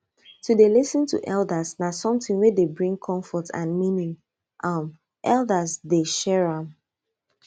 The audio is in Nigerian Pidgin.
to dey lis ten to elders na something wey dey bring comfort and meaning um elders dey share am